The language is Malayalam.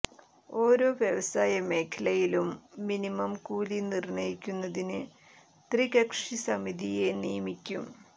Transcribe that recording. ഓരോ വ്യവസായ മേഖലയിലും മിനിമം കൂലി നിര്ണയിക്കുന്നതിന് ത്രികക്ഷി സമിതിയെ നിയമിക്കും